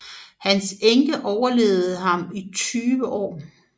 Hans enke overlevede ham i 20 år